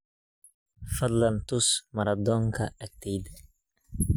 fadlan tus maratoonka agteyda